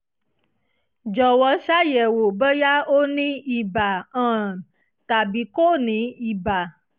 jọ̀wọ́ ṣàyẹ̀wò bóyá ó ní ibà um tàbí kò ní ibà